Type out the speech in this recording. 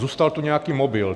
Zůstal tu nějaký mobil.